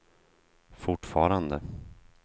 fortfarande